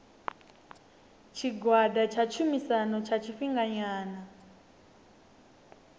tshigwada tsha tshumisano tsha tshifhinganyana